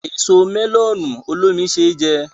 Èso mẹ́lọ̀nù olómi ṣé jẹ